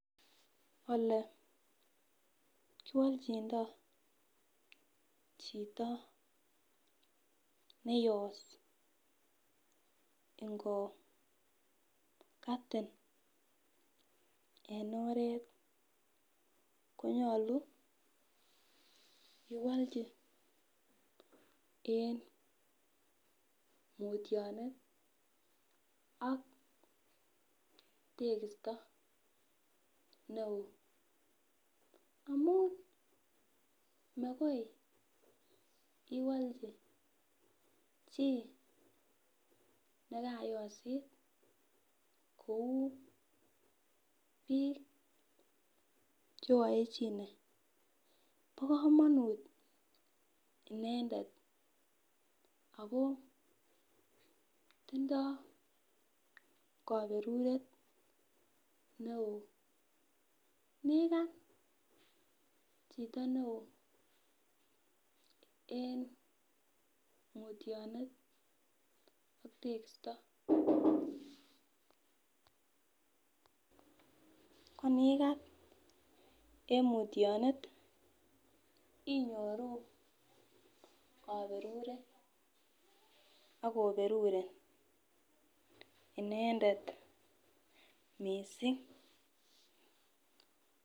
Olee kiwolchindoo chito neyos ingokatin ene oret konyolu iwolchi en mutyonet ak tekisto ne oo amun makoi iwolchi chii nekayosit kou biik che oaechine bo kamonut inendet ako tindoo kaberuret neo ,inikat chito ne oo en mutyonet ak tekisto. konikat en mutyonet inyoru kaberuret akoberurin inendet missing.